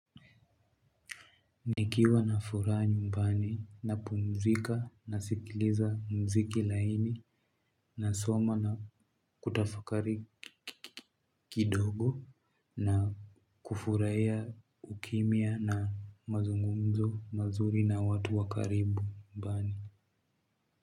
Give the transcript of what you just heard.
Nikiwa na furaha nyumbani napumzika nasikiliza mziki laini nasoma na kutafakari kidogo na kufuraia ukimya na mazungumzo mazuri na watu wa karibu mbani.